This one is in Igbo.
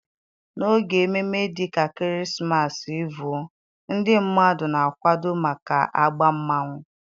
n'oge ememme dị ka krismasi Evuo, ndị mmadụ na-akwado maka egba mmanwu.